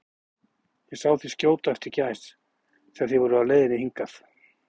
Ég sá þig skjóta á eftir gæs, þegar þið voruð á leiðinni hingað